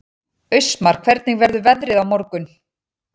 Austmar, hvernig verður veðrið á morgun?